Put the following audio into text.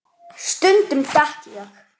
Ég elska þig, pabbi.